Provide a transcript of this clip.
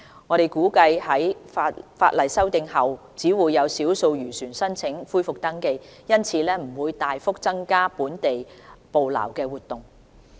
我們估計在法例修訂後只會有少數漁船申請恢復登記，因此不會大幅增加本地捕撈活動。